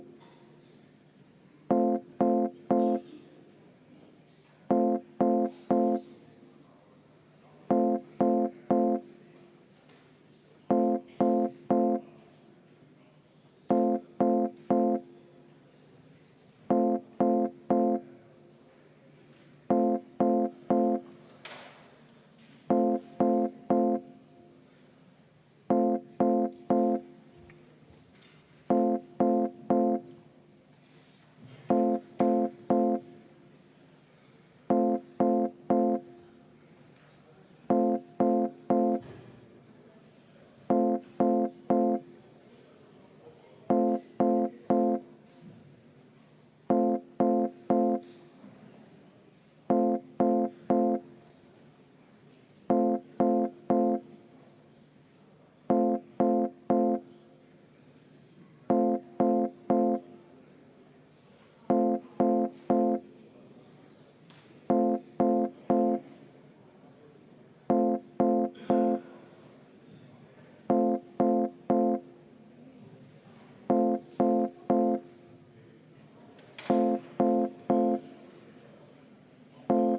V a h e a e g